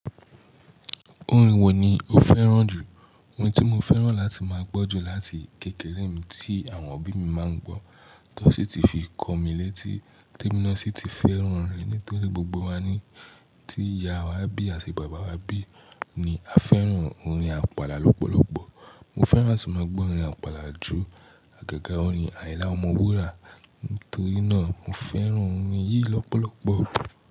Orin wo ni o fẹ́ràn jù? Orin tí mo fẹ́ràn láti máa gbọ́ jù láti kékeré mi tí àwọn òbí mi máa ń gbọ́, tó sì ti fi kọ mi létí, tí èmi ló sì ti fẹ́ràn rẹ, nítorí gbogbo wa ní, tí ìyá wa bí àti bàbá wa bí ni a fẹ́ràn orin àpàlà lọ́pọ̀lọpọ̀. Mo fẹ́ràn àti máa gbọ́ orin àpàlà ju àgẹ́gẹ́ orin àyinla ọmọwúrà, nítorí náà mo fẹ́ràn orin yìí lọ́pọ̀lọpọ̀.